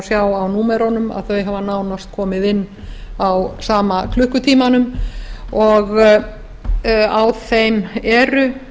sjá á númerunum að þau hafa nánast komið inn á sama klukkutímanum og á þeim eru